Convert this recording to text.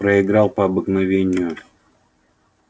проиграл по обыкновению